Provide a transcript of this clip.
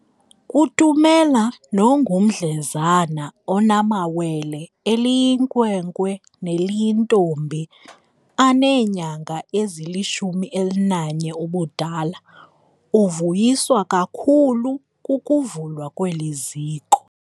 Kutumela nongumdlezana onamawele, eliyinkwenkwe neliyintombi, aneenyanga ezili-11 ubudala, uvuyiswa kakhulu kukuvulwa kweli ziko.